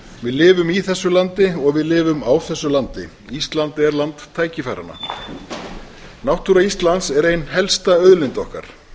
við lifum í þessu landi og við lifum á þessu landi ísland er land tækifæranna náttúra íslands er ein helsta auðlind okkar